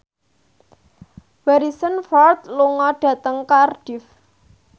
Harrison Ford lunga dhateng Cardiff